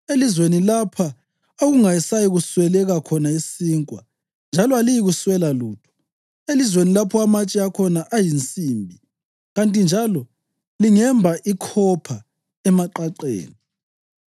elizweni lapha okungasayi kusweleka khona isinkwa njalo aliyikuswela lutho; elizweni lapho amatshe akhona ayinsimbi kanti njalo lingemba ikhopha emaqaqeni.